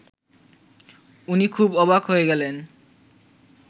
উনি খুব অবাক হয়ে গেলেন